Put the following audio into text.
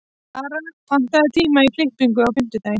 Lara, pantaðu tíma í klippingu á fimmtudaginn.